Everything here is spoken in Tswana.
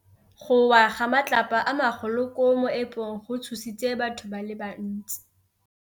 Go wa ga matlapa a magolo ko moepong go tshositse batho ba le bantsi.